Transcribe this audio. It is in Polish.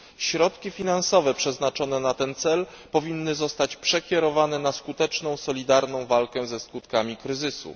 Środki finansowe przeznaczone na ten cel powinny zostać przekierowane na skuteczną, solidarną walkę ze skutkami kryzysu.